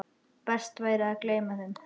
Best væri að gleyma þeim.